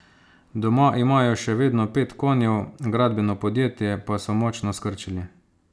Doma imajo še vedno pet konjev, gradbeno podjetje pa so močno skrčili.